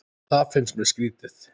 Það finnst mér skrýtið